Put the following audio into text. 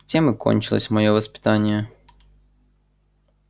тем и кончилось моё воспитание